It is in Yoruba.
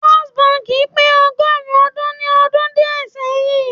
First bank pe ogorun odun ni odun die seyin